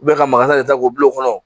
ka maga de ta k'o bila o kɔnɔ